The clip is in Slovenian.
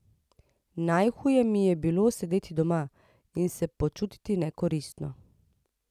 Najhuje mi je bilo sedeti doma in se počutiti nekoristno.